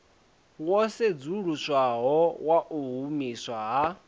wo sedzuluswaho wau humiswa ha